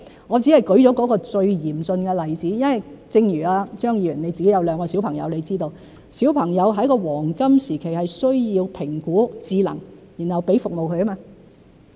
我只是舉了最嚴峻的例子，因為正如張議員有兩個小朋友，你知道小朋友在黃金時期需要評估智能，然後給予服務。